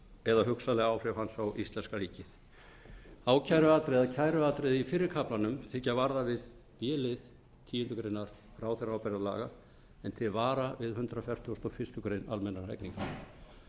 áhrif hans á íslenska ríkið kæruatriði í fyrra kaflanum þykja varða við b lið tíundu greinar ráðherraábyrgðarlaga en til vara við hundrað fertugasta og fyrstu grein almennra hegningarlaga